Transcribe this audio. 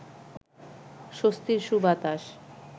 স্বস্তির সুবাতাস